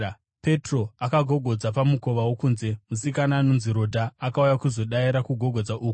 Petro akagogodza pamukova wokunze, musikana ainzi Rodha akauya kuzodaira kugogodza uku.